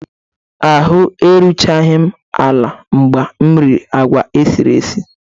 Ahụ́ eruchaghị m ala mgbe m riri agwa esiri esi